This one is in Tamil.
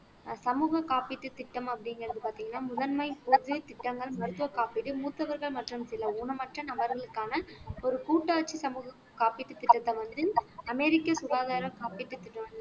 சமூக காப்பீட்டு திட்டம் அப்படிங்கிறது பார்த்தீங்கன்னா முதன்மை திட்டங்கள் மருத்துவ காப்பீடு மூத்தவர்கள் மற்றும் சில ஊனமற்ற நபர்களுக்கான ஒரு கூட்டாட்சி சமூக காப்பீட்டு திட்டத்தை வந்து அமெரிக்க சுகாதாரம் காப்பீட்டுத் திட்ட